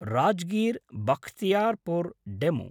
राजगीर्–बख्तियारपुर् DEMU